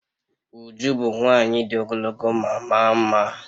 Uju bu nwanyi di ogologo ma maa mma